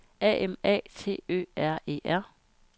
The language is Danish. A M A T Ø R E R